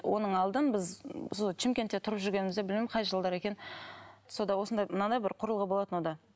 оның алдын біз сол шымкентте тұрып жүргенімізде білмеймін қай жылдары екенін сонда осындай мынадай бір құрылғы болатын онда